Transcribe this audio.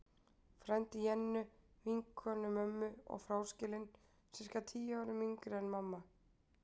Frændi Jennu, vinkonu mömmu, og fráskilinn, sirka tíu árum yngri en mamma.